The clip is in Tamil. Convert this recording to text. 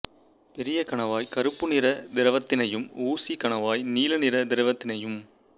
பெரிய கணவாய் கருப்பு நிற திரவத்தினையும் ஊசிக் கணவாய் நீல நிற திரவத்தினையும்